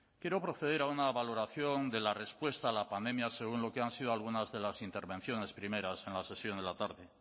quiero proceder a una valoración de la respuesta a la pandemia según lo que han sido algunas de las intervenciones primeras en la sesión de la tarde